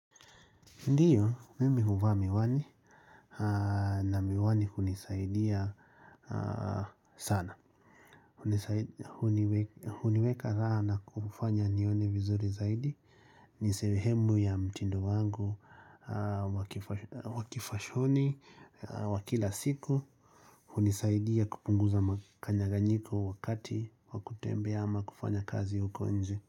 Ndio, mimi uvaa miwani na miwani unizaidia sana. Huniweka raha na kufanya nione vizuri zaidi, ni sehemu ya mtindo wangu wakifashoni wa kila siku, hunizaidia kupunguza makanyaganyiko wakati wakutembea ama kufanya kazi uko nje.